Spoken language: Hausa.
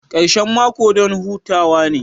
Karshen mako don hutawa ne